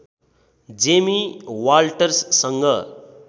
Jamie वाल्टर्ससँग